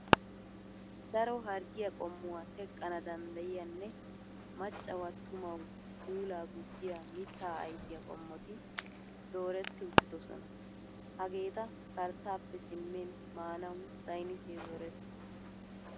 Daro harggiya qommuwa teqqana danddayiyanne maccawu attumawu puulaa gujjiya mittaa ayfiya qommoti dooretti uttidosona. Hageeta karttaappe simmin maanawu saynnisee zorees.